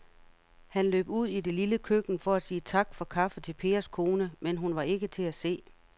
Han løb ud i det lille køkken for at sige tak for kaffe til Pers kone, men hun var ikke til at se.